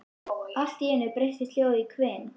Allt í einu breytist hljóðið í hvin.